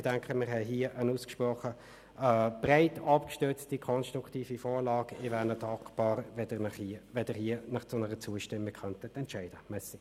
Ich denke, wir haben hier eine ausgesprochen breit abgestützte, konstruktive Vorlage, und ich wäre Ihnen dankbar, wenn Sie sich für eine Zustimmung entscheiden könnten.